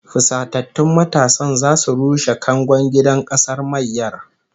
Fusatattun matasan zasu rushe kangon gidan kasar mayyar